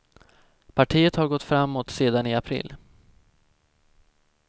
Partiet har gått framåt sedan i april.